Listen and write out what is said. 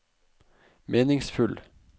meningsfull